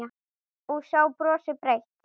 Og sá brosti breitt.